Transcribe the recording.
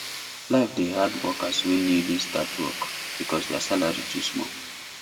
life dey hard workers wey newly start work because their salary too small